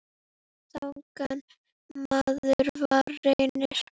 Þannig maður var Reynir.